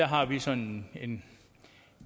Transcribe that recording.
har vi sådan en